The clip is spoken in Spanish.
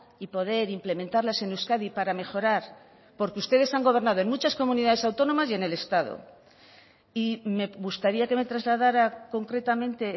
y poder implementarlas en euskadi para mejorar porque ustedes han gobernado en muchas comunidades autónomas y en el estado y me gustaría que me trasladara concretamente